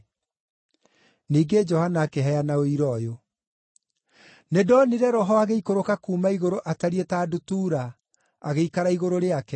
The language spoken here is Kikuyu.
Ningĩ Johana akĩheana ũira ũyũ: “Nĩndonire Roho agĩikũrũka kuuma igũrũ atariĩ ta ndutura, agĩikara igũrũ rĩake.